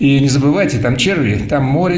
и не забывайте там черви там море